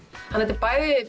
þetta er bæði